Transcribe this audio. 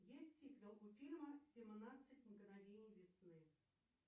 есть сиквел у фильма семнадцать мгновений весны